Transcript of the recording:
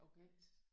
Okay